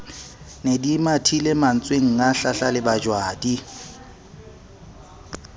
ne di mathile mantswenga hlahlalebajwadi